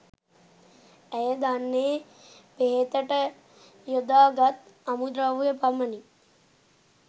ඇය දන්නේ බෙහෙතට යොදා ගත් අමු ද්‍රව්‍ය පමණි